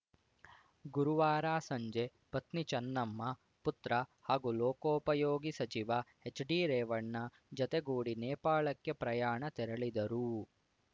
ಗುರುವಾರ ಸಂಜೆ ಪತ್ನಿ ಚನ್ನಮ್ಮ ಪುತ್ರ ಹಾಗೂ ಲೋಕೋಪಯೋಗಿ ಸಚಿವ ಹೆಚ್‌ಡಿರೇವಣ್ಣ ಜತೆಗೂಡಿ ನೇಪಾಳಕ್ಕೆ ಪ್ರಯಾಣ ತೆರಳಿದರು